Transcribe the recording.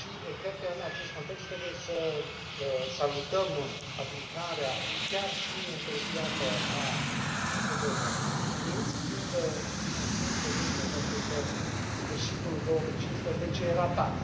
Cred că, în acest context, trebuie să salutăm aplicarea, chiar și întârziată, a acordurilor de la Minsk, fiind conștienți, totuși, de faptul că sfârșitul lui 2015 e ratat.